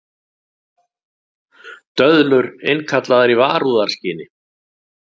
Döðlur innkallaðar í varúðarskyni